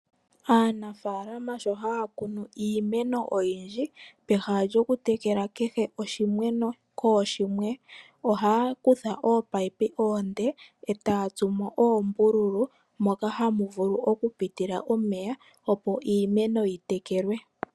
Aanafalama sho haya kunu iimeno oyindji peha lyokutekela kehe oshimeno kooshimwe ohaya kutha oominino oonde etayi dhi tsu oombululu moka hamu vulu okupitila omeya opo iimeno yi tekelwe.